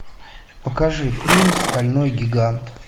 покажи фильм стальной гигант